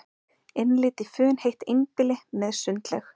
Innlit í funheitt einbýli með sundlaug